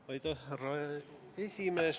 Austatud härra esimees!